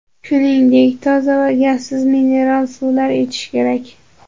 Shuningdek, toza va gazsiz mineral suvlar ichish kerak.